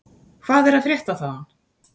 Hvað er að frétta þaðan?